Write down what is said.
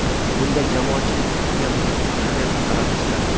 Bunda jamoatchilik fikriga muhim ahamiyat qaratish zarur.